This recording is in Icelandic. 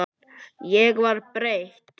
Ég var breytt.